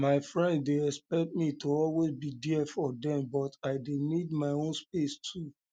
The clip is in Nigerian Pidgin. my friend dey expect me to always be there for dem but i dey um need my own um space too